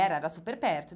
Era, era super perto.